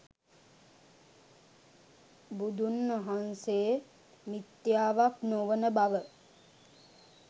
බුදුන්වහන්සේ මිත්‍යාවක් නොවන බව